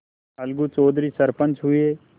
अलगू चौधरी सरपंच हुए